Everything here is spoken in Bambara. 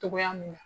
Togoya min na